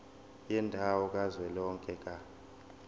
yendawo kazwelonke ka